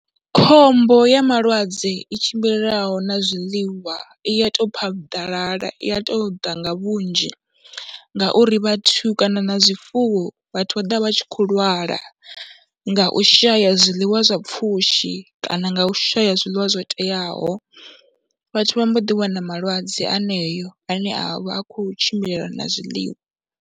Khombo ya malwadze i tshimbilelanaho na zwiḽiwa i ya tou phaḓalala, i ya tou ḓa nga vhunzhi ngauri vhathu kana na zwifuwo, vhathu vha ḓo vha vha tshi khou lwala nga u shaya zwiḽiwa zwa pfhushi kana nga u shaya zwiḽiwa zwo teaho. Vhathu vha mbo ḓiwana malwadze aneyo ane a vha a khou tshimbilelana na zwiḽiwa.